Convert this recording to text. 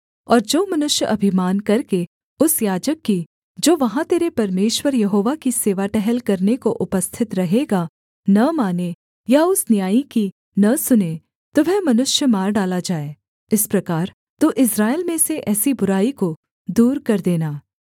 और जो मनुष्य अभिमान करके उस याजक की जो वहाँ तेरे परमेश्वर यहोवा की सेवा टहल करने को उपस्थित रहेगा न माने या उस न्यायी की न सुने तो वह मनुष्य मार डाला जाए इस प्रकार तू इस्राएल में से ऐसी बुराई को दूर कर देना